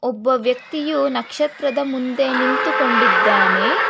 ಒಬ್ಬ ವ್ಯಕ್ತಿಯು ನಕ್ಷತ್ರದ ಮುಂದೆ ನಿಂತುಕೊಂಡಿದ್ದಾನೆ.